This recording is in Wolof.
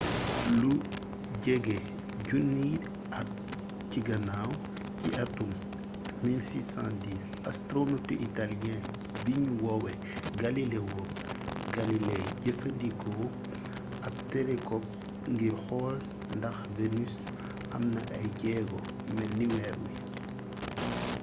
lu jege junniy at ci ginnaw ci atum 1610 astronotu italiyee biñuy woowee galileo galilei jëfandikoo ab telekop ngir xool ndax venus am na ay jéego melni weer wi